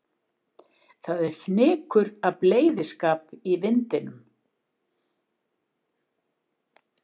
Það er fnykur af bleyðiskap í vindinum.